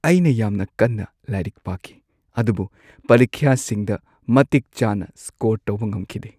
ꯑꯩꯅ ꯌꯥꯝꯅ ꯀꯟꯅ ꯂꯥꯏꯔꯤꯛ ꯄꯥꯈꯤ ꯑꯗꯨꯕꯨ ꯄꯔꯤꯈ꯭ꯌꯥꯁꯤꯡꯗ ꯃꯇꯤꯛꯆꯥꯅ ꯁ꯭ꯀꯣꯔ ꯇꯧꯕ ꯉꯝꯈꯤꯗꯦ꯫